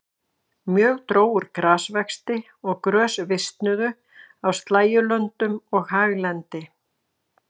Mjög dró úr grasvexti og grös visnuðu á slægjulöndum og haglendi.